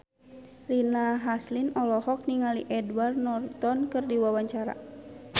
Rina Hasyim olohok ningali Edward Norton keur diwawancara